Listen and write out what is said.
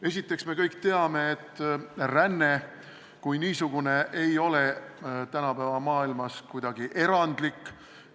Esiteks, me kõik teame, et ränne kui niisugune ei ole tänapäeva maailmas kuidagi erandlik.